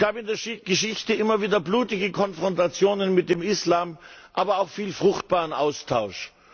Es gab in der Geschichte immer wieder blutige Konfrontationen mit dem Islam, aber auch viel fruchtbaren Austausch.